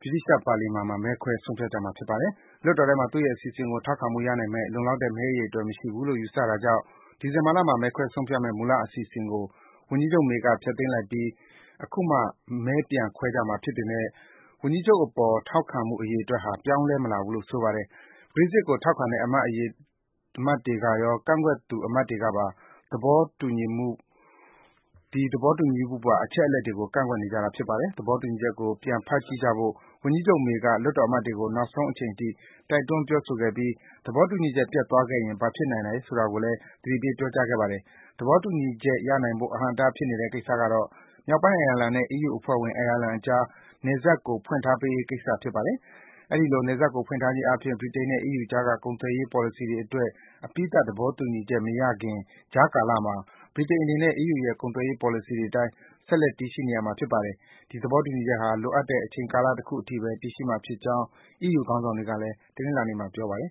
ဗြိတိန် ပါလီမန်မှာ မဲခွဲ ဆုံးဖြတ်ကြမှာ ဖြစ်ပါတယ်။ လွှတ်တော်ထဲမှာ သူ့ရဲ့ အစီအစဉ်ကို ထောက်ခံမှု ရနိုင်မယ့် လုံလောက်တဲ့ မဲအရေအတွက် မရှိဘူးလို့ ယူဆတာကြောင့် ဒီဇင်ဘာလမှာ မဲခွဲဆုံးဖြတ်မယ့် မူလ အစီအစဉ်ကို ဝန်ကြီးချုပ် May က ဖျက်သိမ်းလိုက်ပြီး အခုမှ မဲပြန်ခွဲကြမှာ ဖြစ်ပေမယ့် ဝန်ကြီးအပေါ် ထောက်ခံမှု အရေအတွက်ဟာ ပြောင်းလဲမလာဘူးလို့ ဆိုပါတယ်။ Brexit ကို ထောက်ခံတဲ့ အမတ်တွေရော၊ ကန့်ကွက်သူ အမတ်တွေကပါ သဘောတူညီမှုပါ အချက်အလက်တွေကို ကန့်ကွက်နေကြတာပါ။ သဘောတူညီချက်ကို ပြန်ဖတ်ကြည့်ကြဖို့ ဝန်ကြီးချုပ် May က လွှတ်တော်အမတ်တွေကို နောက်ဆုံးအချိန်အထိ တိုက်တွန်း ပြောဆိုခဲ့ပြီး သဘောတူညီချက် ပျက်သွားခဲ့ရင် ဘာဖြစ်နိုင်တယ်ဆိုတာကိုလည်း သတိပေး ပြောကြားခဲ့ပါတယ်။ သဘောတူညီချက် ရနိုင်ဖို့ အဟန့်အတား ဖြစ်နေတဲ့ကိစ္စကတော့ - မြောက်ပိုင်းအိုင်ယာလန်နဲ့ အီးယူအဖွဲ့ဝင် အိုင်ယာလန်အကြား နယ်စပ်ကို ဖွင့်ထားပေးရေး ကိစ္စဖြစ်ပါတယ်။ အဲဒီလို နယ်စပ်ကို ဖွင့်ထားခြင်းအားဖြင့် ဗြိတိန်နဲ့ အီးယူအကြားက ကုန်သွယ်ရေးပေါ်လစီတွေအတွက် အပြီးသတ် သဘောတူညီချက်မရခင် ကြားကလမှာ ဗြိတိန်အနေနဲ့ အီးယူရဲ့ ကုန်သွယ်ပေါ်လစီတွေအတိုင်း ဆက်လက် တည်ရှိနေမှာ ဖြစ်ပါတယ်။ ဒီသဘောတူညီချက်ဟာ လိုအပ်တဲ့ အချိန်ကာလတခုအထိဘဲ တည်ရှိမှာဖြစ်ကြောင်း အီးယူ ခေါင်းဆောင်တွေကလည်း တနင်္လာနေ့မှာ ပြောပါတယ်